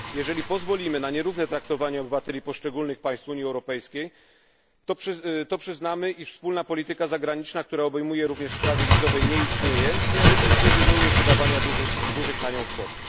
Jeżeli pozwolimy na nierówne traktowanie obywateli poszczególnych państw Unii Europejskiej, to przyznamy, iż wspólna polityka zagraniczna, która obejmuje również sprawy wizowe, nie istnieje i najlepiej zrezygnujmy z wydawania na nią dużych kwot.